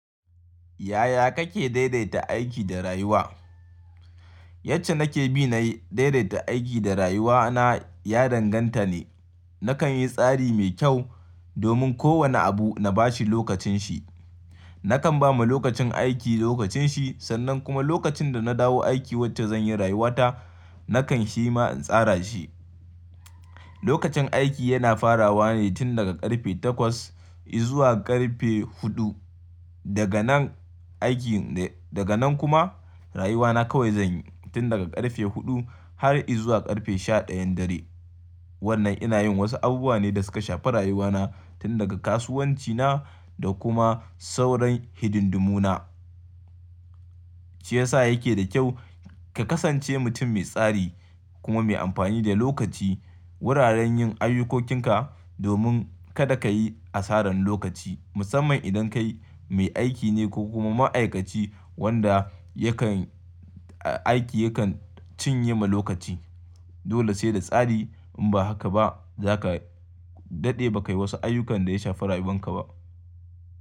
Yaya kake daidaita aiki da rayuwa? Yacce nake bi na daidaita aiki da rayuwa na ya danganta ne. Nakan yi tsari mai kyau domin kowane abu na bashi lokacin shi. Nakan ba ma lokacin aiki lokacin shi sannan kuma lokacin da na dawo aiki wacce zan yi rayuwa ta nakan shi ma in tsara shi. Lokacin aiki yana farawa ne tun daga ƙarfe takwas izuwa ƙarfe huɗu. Daga nan aiki daga nan kuma rayuwa na kawai zan yi tun daga ƙarfe huɗu har izuwa ƙarfe sha ɗayan dare. Wannan ina yin wasu abubuwa ne da suka shafi rayuwa na tun daga kasuwanci na da kuma sauran hidindimu na. Shi yasa yake da kyau ka kasance mutum mai tsari kuma mai amfani da lokaci wuraren yin ayyukokinka domin kada ka yi asaran lokaci musamman idan kai mai aiki ne ko kuma ma'aikaci wanda yakan aiki yakan cinye ma lokaci. Dole sai da tsari in ba haka ba zaka daɗe ba ka yi wasu ayyukan da ya shafi rayuwan ka ba.